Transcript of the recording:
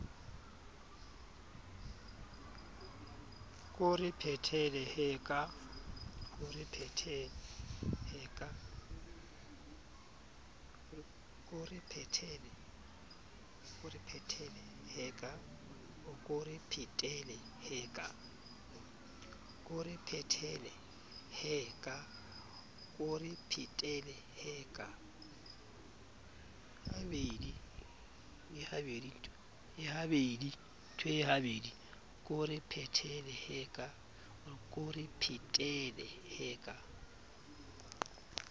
ko re phetele he ka